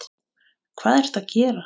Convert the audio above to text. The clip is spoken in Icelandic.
Hvað ertu að gera!